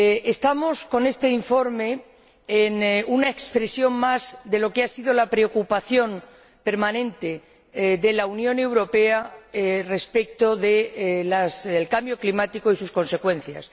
Este informe es una expresión más de lo que ha sido la preocupación permanente de la Unión Europea respecto del cambio climático y sus consecuencias.